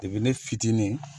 Depi ne fitinin